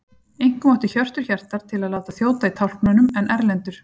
Einkum átti Hjörtur Hjartar til að láta þjóta í tálknunum, en Erlendur